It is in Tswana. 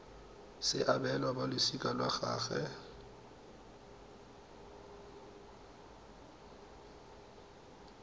se abelwa balosika lwa gagwe